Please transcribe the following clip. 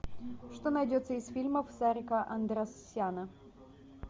что найдется из фильмов сарика андреасяна